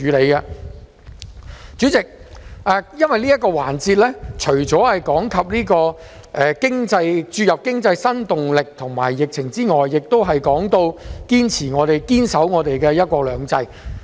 代理主席，因為這個環節除了提及注入經濟新動力及疫情外，亦提到堅守"一國兩制"。